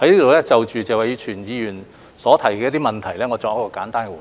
我在此就謝偉銓議員提出的問題作簡單回應。